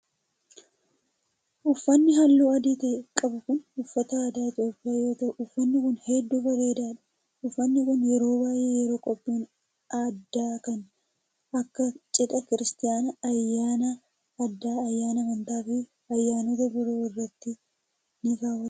Uffanni haalluu adii ta'e qabu kun, uffata aadaa Itoophiyaa yoo ta'u uffanni kun hedduu bareedaa dha. Uffanni kun yeroo baay'ee yeroo qophiin addaa kan aaka:cidhaa, kiiristinnaa, ayyaana aadaa, ayyaana amantaa fi ayyaanota biroo irratti ni kaawwatama.